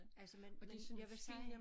Altså men men jeg vil sige